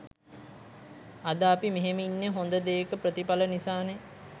අද අපි මෙහෙම ඉන්න හොඳ දේක ප්‍රතිපල නිසානේ